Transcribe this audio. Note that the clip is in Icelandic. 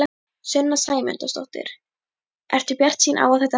Sunna Sæmundsdóttir: Ertu bjartsýn á að þetta náist?